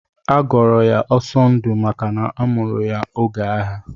Agọrọ ya Ọsọndụ maka na amụrụ ya oge agha.